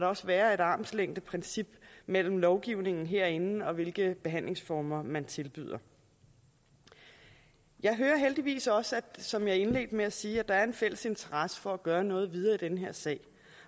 også være et armslængdeprincip mellem lovgivningen herinde og hvilke behandlingsformer man tilbyder jeg hører heldigvis også som jeg indledte med at sige at der er en fælles interesse for at gøre noget videre i den her sag